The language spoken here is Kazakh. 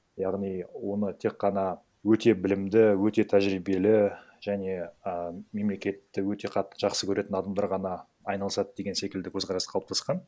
яғни оны тек қана өте білімді өте тәжіребиелі және і мемлекетті өте қатты жақсы көретін адамдар ғана айналасады деген секілді көзқарас қалыптасқан